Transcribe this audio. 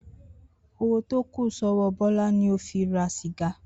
Owó tó kù só̩wó̩ Bó̩lá ni ó fi ra sìga